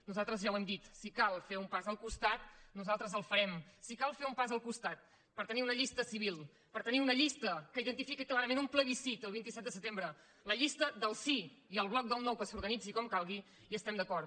nosaltres ja ho hem dit si cal fer un pas al costat nosaltres el farem si cal fer un pas al costat per tenir una llista civil per tenir una llista que identifiqui clarament un plebiscit el vint set de setembre la llista del sí i el bloc del no que s’organitzi com calgui hi estem d’acord